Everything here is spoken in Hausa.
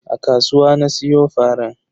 A kasuwa na siyo faran.